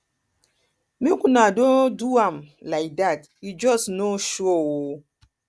make una no do am like dat he just no sure um